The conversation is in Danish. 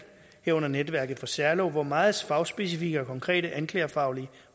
herunder netværket for særlove hvor meget fagspecifikke og konkrete anklagefaglige